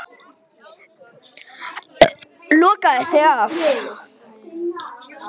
Lokaði sig af.